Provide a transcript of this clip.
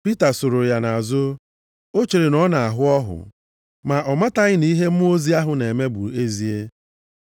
Pita sooro ya nʼazụ, o chere na ọ na-ahụ ọhụ, ma ọ mataghị na ihe mmụọ ozi ahụ na-eme bụ ezie.